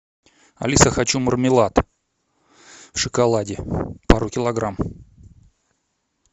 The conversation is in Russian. алиса хочу мармелад в шоколаде пару килограмм